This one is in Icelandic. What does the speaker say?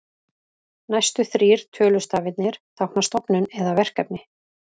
Næstu þrír tölustafirnir tákna stofnun eða verkefni.